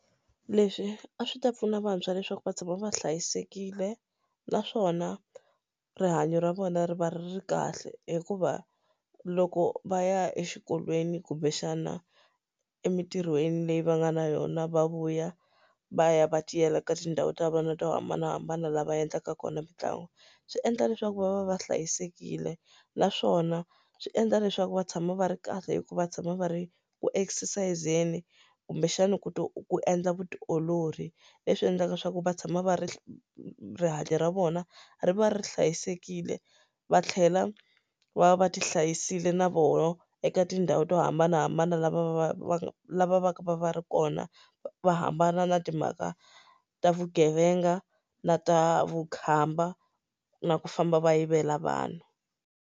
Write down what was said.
Leswi a swi ta pfuna vantshwa leswaku va tshama va hlayisekile naswona rihanyo ra vona ri va ri ri kahle hikuva loko va ya exikolweni kumbexana emitirhweni leyi va nga na yona va vuya va ya va tiyela ka tindhawu ta vona to hambanahambana lava endlaka kona mitlangu swi endla leswaku va va va hlayisekile naswona swi endla leswaku va tshama va ri kahle hikuva tshama va ri ku exercise-zeni kumbexana ku endla vutiolori leswi endlaka leswaku va tshama va ri rihanyo ra vona ri va ri hlayisekile va tlhela va va ti hlayisile na vona eka ti tindhawu to hambanahambana lava va va laha va vaka va va ri kona va hambana na timhaka ta vugevenga na ta vukhamba na ku famba va yivela vanhu.